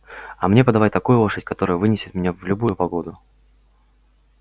а мне подавай такую лошадь которая вынесет меня в любую погоду